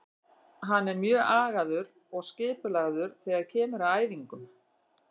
Hann er mjög agaður og skipulagður þegar kemur að æfingum.